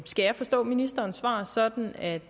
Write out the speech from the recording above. skal jeg forstå ministerens svar sådan at